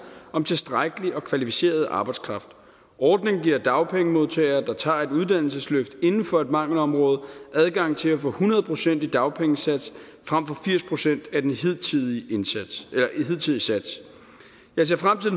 om tilstrækkelig og kvalificeret arbejdskraft ordningen giver dagpengemodtagere der tager et uddannelsesløft inden for et mangelområde adgang til at få hundrede procent i dagpengesats frem for firs procent af den hidtidige hidtidige sats jeg ser frem til